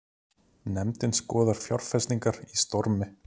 Nefndin skoðar fjárfestingar í Stormi